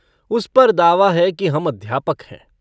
उस पर दावा है कि हम अध्यापक हैं।